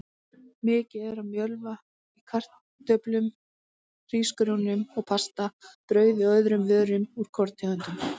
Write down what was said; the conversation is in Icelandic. Mikið er af mjölva í kartöflum, hrísgrjónum og pasta, brauði og öðrum vörum úr korntegundum.